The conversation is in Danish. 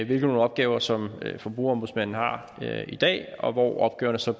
hvilke opgaver som forbrugerombudsmanden har i dag og hvor opgaverne så